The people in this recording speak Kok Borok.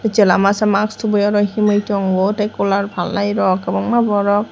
chwla masa mask thubui oro himui tongo tei cooler phalrok kwbangma borok.